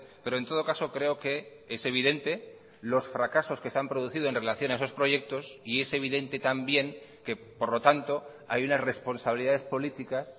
pero en todo caso creo que es evidente los fracasos que se han producido en relación a esos proyectos y es evidente también que por lo tanto hay unas responsabilidades políticas